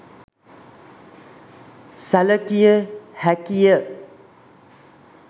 සැලකිය හැකි ය.